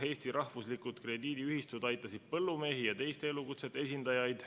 Eesti rahvuslikud krediidiühistud aitasid põllumehi ja teiste elukutsete esindajaid.